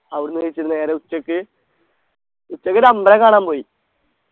അവിടെന്നു കഴിച്ചു നേരെ ഉച്ചക്ക് ഉച്ചക്കൊരു അമ്പലം കാണാൻ പോയി